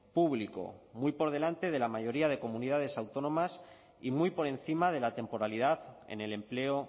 público muy por delante de la mayoría de comunidades autónomas y muy por encima de la temporalidad en el empleo